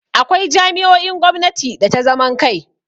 Akwai jami'o'in gwamnati da ta zaman kai.